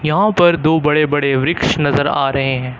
यहां पर दो बड़े बड़े वृक्ष नजर आ रहे हैं।